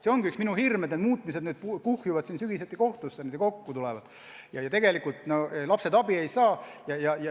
See ongi üks minu hirme, et need muutmistaotlused kuhjuvad sügisel kohtusse ja tegelikult lapsed abi ei saa.